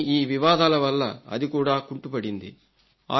కానీ ఈ వివాదాల వల్ల అది కూడా కుంటుపడింది